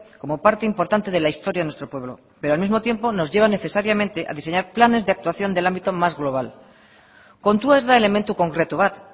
como parte importante de la historia de nuestro pueblo pero al mismo tiempo nos lleva necesariamente a diseñar planes de actuación del ámbito más global kontua ez da elementu konkretu bat